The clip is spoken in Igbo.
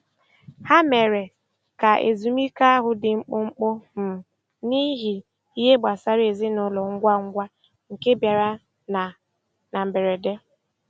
Ha mere ka ezumike ahụ dị mkpụmkpụ um n'ihi ihe gbasara ezinụlọ ngwa ngwa nke bịara na na mberede.